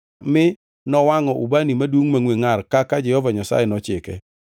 mi nowangʼo ubani madum mangʼwe ngʼar kaka Jehova Nyasaye nochike.